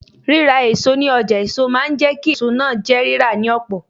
Ríra èso ní ọjà èso máa jẹ́ kí èso náà jẹ́ rírà ní ọ̀pọ̀.